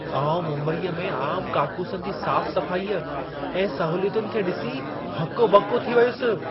आउं मुंबईअ में आमु काकूसनि जी साफ़ सफ़ाईअ ऐं सहूलियतुनि खे ॾिसी हको ॿको थी वियुसि।